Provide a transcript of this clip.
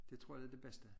Det tror jeg det det bedste